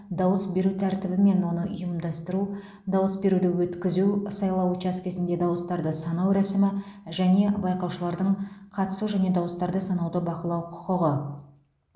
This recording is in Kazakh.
дауыс беру тәртібі мен оны ұйымдастыру дауыс беруді өткізу сайлау учаскесінде дауыстарды санау рәсімі және байқаушылардың қатысу және дауыстарды санауды бақылау құқығы